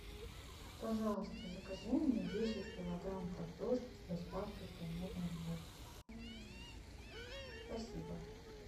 пожалуйста закажи мне десять килограмм картошки с доставкой ко мне домой спасибо